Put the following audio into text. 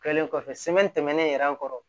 Kɛlen kɔfɛ tɛmɛnen yɛrɛ kɔrɔ